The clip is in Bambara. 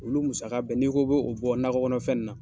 Olu musaka bɛɛ n'i k'i bɔ nakɔ kɔnɔfɛn in na